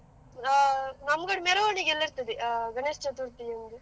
ಹಾ ನಮ್ಮ್ಮಗಳ ಮೆರವಣಿಗೆ ಎಲ್ಲ ಇರ್ತದೆ, ಗಣೇಶ ಚತುರ್ಥಿಯಂದು.